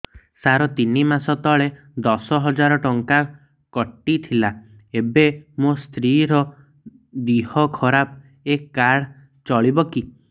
ସାର ତିନି ମାସ ତଳେ ଦଶ ହଜାର ଟଙ୍କା କଟି ଥିଲା ଏବେ ମୋ ସ୍ତ୍ରୀ ର ଦିହ ଖରାପ ଏ କାର୍ଡ ଚଳିବକି